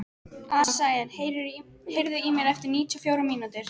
Asael, heyrðu í mér eftir níutíu og fjórar mínútur.